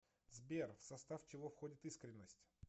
сбер в состав чего входит искренность